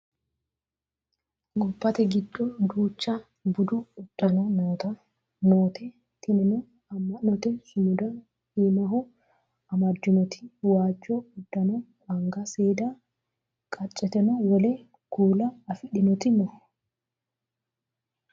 gobbate giddo duucha budu uddano noote tinino amma'note sumuda iimaho amaddinoti waajjo uddano anga seeda qaaceteno wole kuula afidhinoti no